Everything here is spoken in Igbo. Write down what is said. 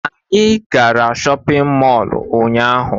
Anyị gara shọpiñ mọlu ụnyaahụ.